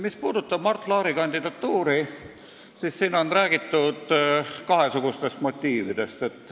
Mis puudutab Mart Laari kandidatuuri, siis on räägitud kahesugustest motiividest.